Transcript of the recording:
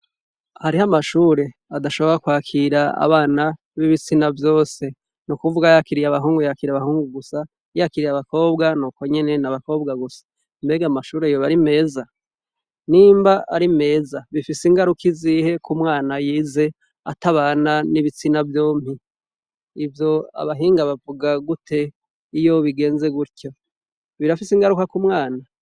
Hariho amashure adashobora kwakira abana b'ibitsina vyose. Ni ukuvuga yakiriye abahungu, yakira abahungu gusa. Yakiriye abakobwa ni uko nyene, ni abakobwa gusa. Mbega ayo mashure yoba ari meza? Nimba ari meza, bifise ingaruka izihe ku mwana yize atabana n'ibitsina vyompi. Ivyo abahinga bavuga gute iyo bigenze gutyo? Birafise ingaruka ku mwana?